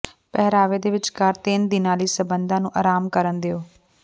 ਪਹਿਰਾਵੇ ਦੇ ਵਿਚਕਾਰ ਤਿੰਨ ਦਿਨਾਂ ਲਈ ਸੰਬੰਧਾਂ ਨੂੰ ਆਰਾਮ ਕਰਨ ਦਿਓ